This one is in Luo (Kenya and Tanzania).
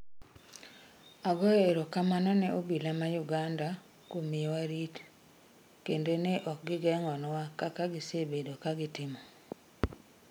"Agoyo erokamano ne obila ma uganda kuom miyowa rit kendo ne okgigeng'nwa kaka gisebedo ka gitimo."